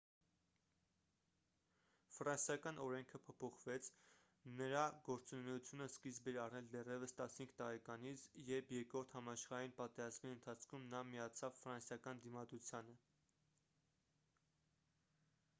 ֆրանսիական օրենքը փոփոխվեց նրա գործունեությունը սկիզբ էր առել դեռևս 15 տարեկանից երբ երկրորդ համաշխարհային պատերազմի ընթացքում նա միացավ ֆրանսիական դիմադրությանը